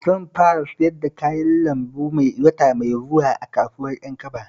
Zan fara siyar da kayan lambu wata mai zuwa a kasuwar Ƴankaba